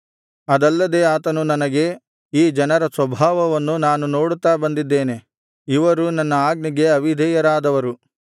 ಅದಲ್ಲದೆ ಆತನು ನನಗೆ ಈ ಜನರ ಸ್ವಭಾವವನ್ನು ನಾನು ನೋಡುತ್ತಾ ಬಂದಿದ್ದೇನೆ ಇವರು ನನ್ನ ಆಜ್ಞೆಗೆ ಅವಿಧೇಯರಾದವರು